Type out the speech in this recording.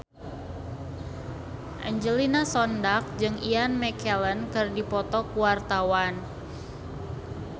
Angelina Sondakh jeung Ian McKellen keur dipoto ku wartawan